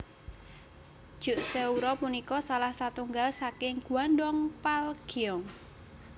Jukseoru punika salah satunggal saking Gwandong Palgyeong